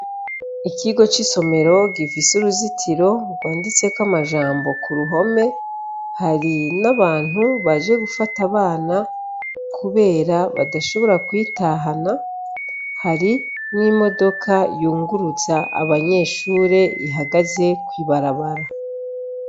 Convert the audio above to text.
Ikigo c'isomero gifise uruzitiro rwanditseko amajambo ku ruhome, hari n'abantu baje gufata abana kubera badashobora kwitahana, hari n'imodoka yunguruza abanyeshure ihagaze kw'ibarabara.